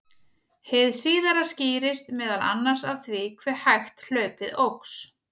Hið síðara skýrist meðal annars af því hve hægt hlaupið óx.